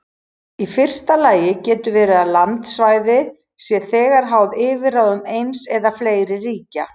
Í fyrsta lagi getur verið að landsvæði sé þegar háð yfirráðum eins eða fleiri ríkja.